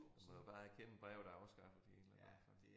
Man må jo bare erkende brevet er afskaffet i et eller andet omfang